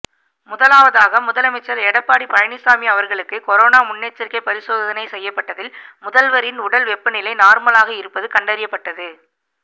முதலாவதாக முதலமைச்சர் எடப்பாடி பழனிச்சாமி அவர்களுக்கு கொரோனா முன்னெச்சரிக்கை பரிசோதனை செய்யப்பட்டதில் முதல்வரின் உடல் வெப்பநிலை நார்மலாக இருப்பது கண்டறியப்பட்டது